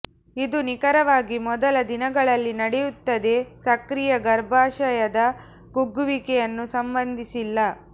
ಇದು ನಿಖರವಾಗಿ ಮೊದಲ ದಿನಗಳಲ್ಲಿ ನಡೆಯುತ್ತದೆ ಸಕ್ರಿಯ ಗರ್ಭಾಶಯದ ಕುಗ್ಗುವಿಕೆಯನ್ನು ಸಂಬಂಧಿಸಿಲ್ಲ